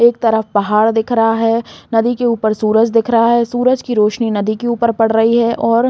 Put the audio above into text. एक तरफ पहाड़ दिख रहा है नदी के ऊपर सूरज दिख रहा है सूरज की रोशनी नदी के ऊपर पड़ रही है और --